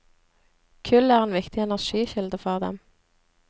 Kull er en viktig energikilde for dem.